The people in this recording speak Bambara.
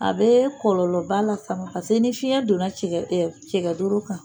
A bɛ kɔlɔlɔba lase a ma paseke ni fiɲɛ donna cɛgɛ doro kan